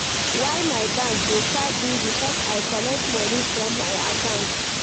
Why my bank dey charge me because I collect moni from my account.